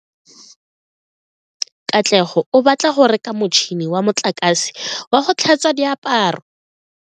Katlego o batla go reka motšhine wa motlakase wa go tlhatswa diaparo.